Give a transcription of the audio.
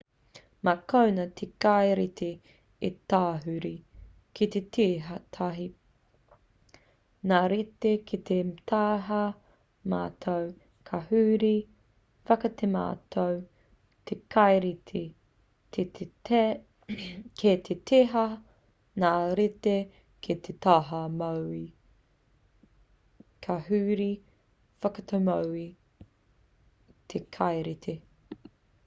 mā konā te kaireti e tahuri ki te tītaha ngā reti ki te taha matau ka huri whakatematau te kaireti ki te tītaha ngā reti ki te taha mauī ka huri whakatemauī te kaireti